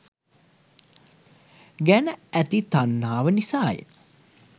ගැන ඇති තන්හාව නිසාය.